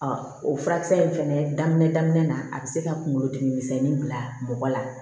o furakisɛ in fɛnɛ daminɛ daminɛ na a bɛ se ka kunkolo dimi misɛnnin bila mɔgɔ la